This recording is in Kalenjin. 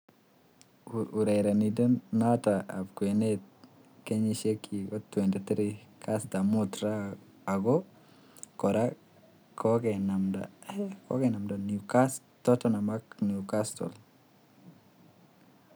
Urerrnindet noto ab kwenet nenyit kenyisiek 23, kastab mut raa, ako kora kokenamda Tottenham ak Newcastle.